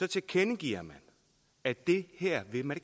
tilkendegiver man at det her vil man